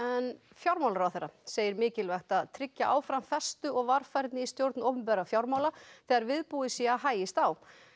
fjármálaráðherra segir mikilvægt að tryggja áfram festu og varfærni í stjórn opinberra fjármála þegar viðbúið sé að hægist á